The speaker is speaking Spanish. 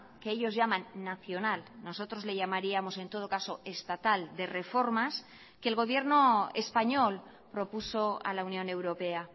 que ellos llaman nacional nosotros le llamaríamos en todo caso estatal de reformas que el gobierno español propuso a la unión europea